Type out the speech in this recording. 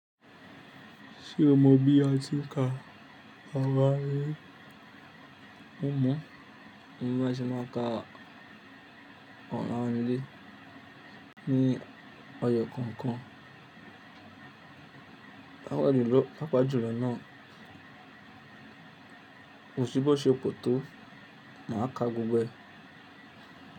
Ṣé o mọ bí a ti ń ka ara rí? Mọ̀, mo máa ṣì máa ka ọ̀la ni ilé ní ọjọ́ kọ̀ọ̀kan. Pápá jùlọ náà, kò sí bó ṣe pò tó, màá ka gbogbo ẹ̀.